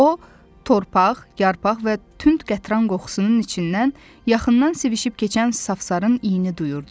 O torpaq, yarpaq və tünd qətran qoxusunun içindən yaxından sivişib keçən safsarın iyini duyurdu.